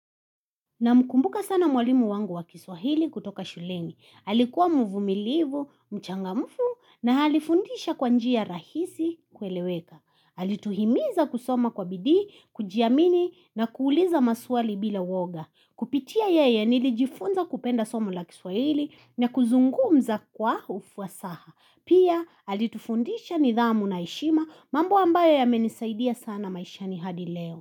Na mkumbuka sana mwalimu wangu wa kiswahili kutoka shuleni. Halikuwa mvumilivu, mchangamfu na halifundisha kwa njia rahisi kueleweka. Halituhimiza kusoma kwa bidhi, kujiamini na kuuliza maswali bila woga. Kupitia yeye nilijifunza kupenda somo la kiswahili na kuzungumza kwa ufuasaha. Pia halitufundisha nidhamu na eshima mambo ambayo yamenisaidia sana maisha ni hadi leo.